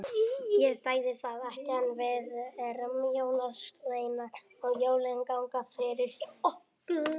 Ég sagði það ekki, en við erum jólasveinar og jólin ganga fyrir hjá okkur.